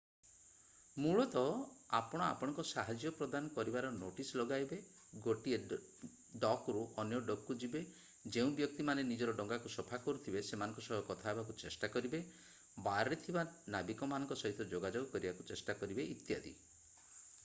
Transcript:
ମୂଳତଃ ଆପଣ ଆପଣଙ୍କ ସାହାଯ୍ୟ ପ୍ରଦାନ କରିବାର ନୋଟିସ୍ ଲଗାଇବେ ଗୋଟିଏ ଡକରୁ ଅନ୍ୟ ଡକକୁ ଯିବେ ଯେଉଁ ବ୍ୟକ୍ତି ମାନେ ନିଜର ଡଙ୍ଗାକୁ ସଫା କରୁଥିବେ ସେମାନଙ୍କ ସହ କଥା ହେବାକୁ ଚେଷ୍ଟା କରିବେ ବାରରେ ଥିବା ନାବିକମାନଙ୍କ ସହିତ ଯୋଗାଯୋଗ କରିବାକୁ ଚେଷ୍ଟା କରିବେ ଇତ୍ୟାଦି